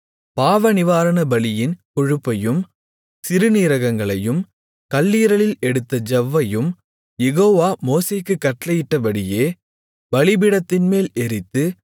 பாவநிவாரணபலியின் கொழுப்பையும் சிறுநீரகங்களையும் கல்லீரலில் எடுத்த ஜவ்வையும் யெகோவா மோசேக்குக் கட்டளையிட்டபடியே பலிபீடத்தின்மேல் எரித்து